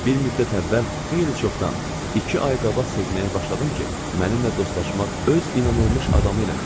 Bir müddət əvvəl, xeyli çoxdan, iki ay qabaq sevməyə başladım ki, mənimlə dostlaşmaq, öz inanılmış adamı eləmək istəyir.